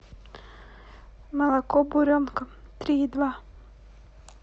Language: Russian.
молоко буренка три и два